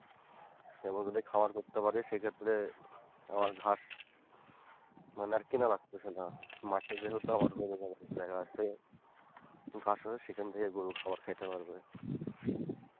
সেগুলো যদি খাবার করতে পারি সেক্ষেত্রে আমার ঘাস মানে আর কেনা লাগতাছে না, মাঠে যেহেতু আমার জমি জায়গা আছে ঘাস হয় সেখান থেকে গরু খাওয়ার খাইতে পারবে।